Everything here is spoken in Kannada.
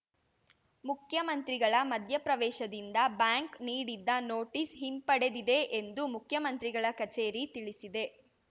ಮುಖ್ಯಮಂತ್ರಿಗಳ ಮಧ್ಯಪ್ರವೇಶದಿಂದ ಬ್ಯಾಂಕ್‌ ನೀಡಿದ್ದ ನೋಟಿಸ್‌ ಹಿಂಪಡೆದಿದೆ ಎಂದು ಮುಖ್ಯಮಂತ್ರಿಗಳ ಕಚೇರಿ ತಿಳಿಸಿದೆ